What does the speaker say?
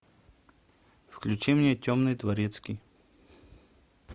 включи мне темный дворецкий